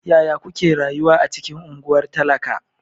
Yaya kuke rayuwa a cikin unguwar talaka?